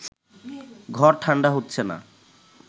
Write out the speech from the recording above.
ঘর ঠান্ডা হচ্ছে না